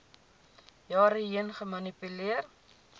jare heen gemanipuleer